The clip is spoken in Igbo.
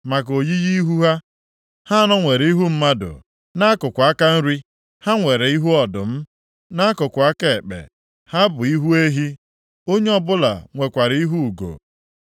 Maka oyiyi ihu ha: Ha anọ nwere ihu mmadụ, nʼakụkụ aka nri ha nwere ihu ọdụm, nʼakụkụ aka ekpe ha bụ ihu ehi, onye ọbụla nwekwara ihu ugo.